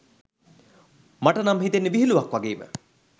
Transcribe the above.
මට නම් හිතෙන්නෙ විහිලුවක් වගේම